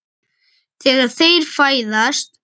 Þegar þeir fæðast